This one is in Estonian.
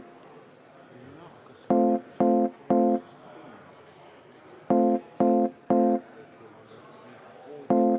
Ilusat õhtut!